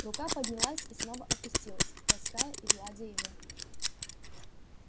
рука поднялась и снова опустилась лаская и гладя его